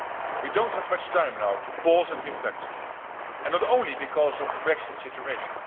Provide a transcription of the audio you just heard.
We do not have much time now to pause and reflect and not only because of the Brexit situation.